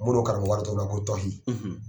Mono ka nin wari dɔn na ko tɔhi